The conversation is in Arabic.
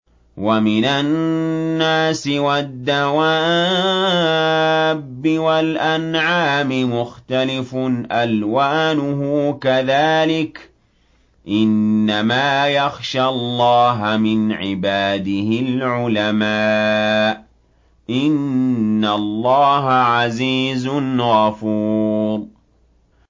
وَمِنَ النَّاسِ وَالدَّوَابِّ وَالْأَنْعَامِ مُخْتَلِفٌ أَلْوَانُهُ كَذَٰلِكَ ۗ إِنَّمَا يَخْشَى اللَّهَ مِنْ عِبَادِهِ الْعُلَمَاءُ ۗ إِنَّ اللَّهَ عَزِيزٌ غَفُورٌ